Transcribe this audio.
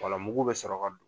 Fɔlɔ mugu bɛ saraka don.